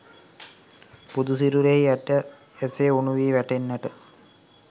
බුදු සිරුරෙහි ඇට එසේ උණු වී වැටෙන්නට